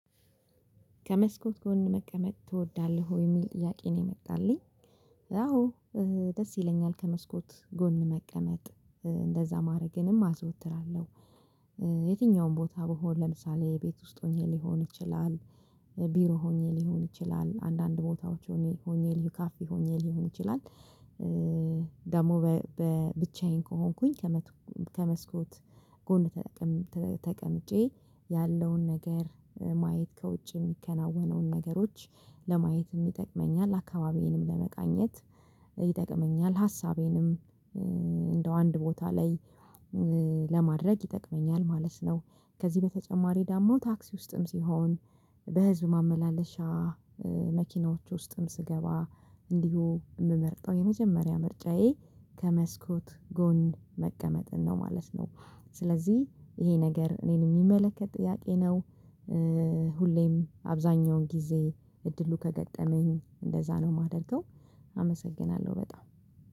ከመስኮት ጎን መቀመጥ ትወዳለህ ወይ የሚል ጥያቄ ነው የመጣልኝ? አዎ ደስ ይለኛል ከመስኮት ጎን መቀመጥ እንደዛ ማድረግንም አዘወትራለሁ። የትኛውም ቦታ በሆነ ለምሳሌ ቤት ውስጥ ሆኜ ሊሆን ይችላል። ቢሮ ሆኜ ሊሆን ይችላል አንዳንድ ቦታዎች ሆኜ ሆኜ ሆነል ሊካፍ ሆነል ሊሆን ይችላል። ደግሞ በብቻዬን ከሆንኩኝ። ከመስኮት ጎን ተቀምጬ ያለውን ነገር ማየት ከውጭ የሚከናወነውን ነገሮች ለማየት ይጠቅመኛል አካባቢዬንም ለመቃኘት ይጠቅመኛል። ሀሳቤንም እንደው አንድ ቦታ ላይ ለማድረግ ይጠቅመኛል ማለት ነው። ከዚህ በተጨማሪ ደግሞ ታክሲ ውስጥም ሲሆን በህዝብ ማመላለሻ መኪናዎች ውስጥም ስገባ እንዲሁ የምመርጠው የመጀመሪያ ምርጫዬ ከመስኮት ጎን መቀመጥን ነው ማለት ነው። ስለዚህ ይሄ ነገር እኔን የሚመለከት ጥያቄ ነው። ሁሌም አብዛኛውን ጊዜ እድሉ ከገጠመኝ እንደዛ ነው የማደርገው። አመሰግናለሁ በጣም